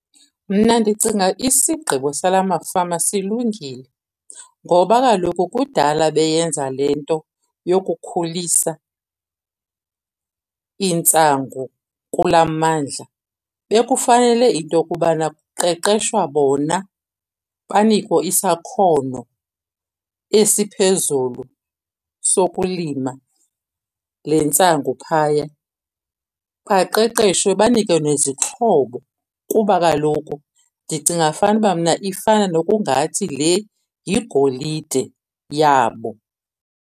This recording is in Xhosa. Mna ndicinga isigqibo sala mafama silungile ngoba kaloku kudala beyenza le nto yokukhulisa intsangu kulaa mmandla. Bekufanele into yokubana kuqeqeshwa bona banikwe isakhono esiphezulu sokulima le ntsangu phaya. Baqeqeshwe banikwe nezixhobo kuba kaloku ndicinga fanuba mna ifana nokungathi le yigolide yabo.